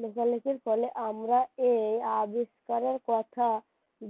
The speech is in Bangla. লেখালেখির ফলে আমরা এই আবিষ্কারের কথা